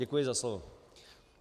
Děkuji za slovo.